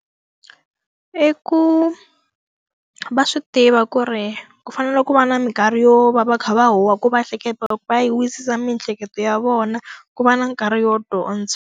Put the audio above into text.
I ku va swi tiva ku ri ku fanele ku va na minkarhi yo va va kha va huha ku va va yi wisisa miehleketo ya vona, ku va na nkarhi wo dyondza.